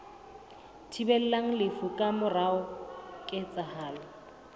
thibelang lefu ka mora ketsahalo